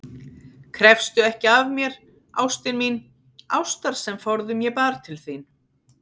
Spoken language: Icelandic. Krefstu ekki af mér, ástin mín, ástar sem forðum ég bar til þín.